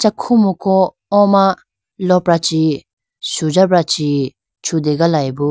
Khumuku o ma lopra chi sujabra chi chugalayibo.